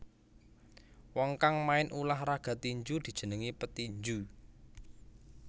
Wong kang main ulah raga tinju dijenengi petinju